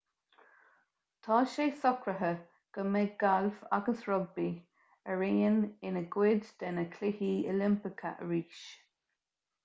tá sé socraithe go mbeidh gailf agus rugbaí araon ina gcuid de na cluichí oilimpeacha arís